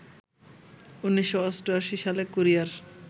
১৯৮৮ সালে কোরিয়ার